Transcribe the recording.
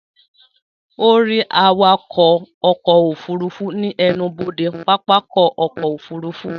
Ó rí awakọ̀ ọkọ̀ òfurufú ní ẹnubodè pápákọ̀ ọkọ̀ òfurufú